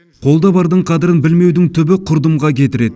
қолда бардың қадірін білмеудің түбі құрдымға кетіреді